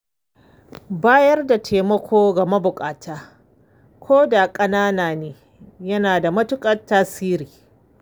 Bayar da taimako ga mabuƙata ko da ƙanana ne, yana da matuƙar tasiri.